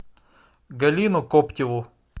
галину коптеву